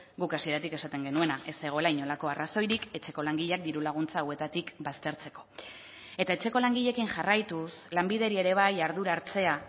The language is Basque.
guk hasieratik esaten genuena ez zegoela inolako arrazoirik etxeko langileak diru laguntza hauetatik baztertzeko eta etxeko langileekin jarraituz lanbideri ere bai ardura hartzea